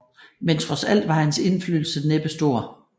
Men trods alt var hans indflydelse næppe stor